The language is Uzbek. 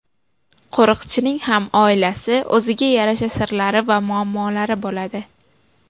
Qo‘riqchining ham oilasi, o‘ziga yarasha sirlari va muammolari bo‘ladi.